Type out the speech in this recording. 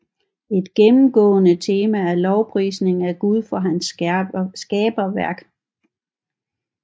Et gennemgående tema er lovprisning af Gud for hans skaberværk